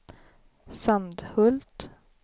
Sandhult